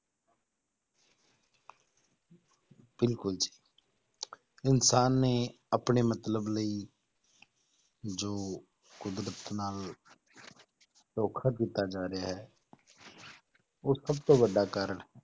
ਬਿਲਕੁਲ ਜੀ ਇਨਸਾਨ ਦੇ ਆਪਣੇ ਮਤਲਬ ਲਈ ਜੋ ਕੁਦਰਤ ਨਾਲ ਧੋਖਾ ਕੀਤਾ ਜਾ ਰਿਹਾ ਹੈ ਉਹ ਸਭ ਤੋਂ ਵੱਡਾ ਕਾਰਨ,